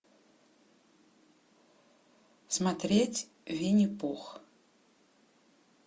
смотреть винни пух